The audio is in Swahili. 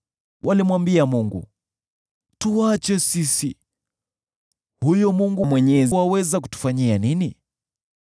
Walimwambia Mungu, ‘Tuache sisi! Huyo Mwenyezi aweza kutufanyia nini?’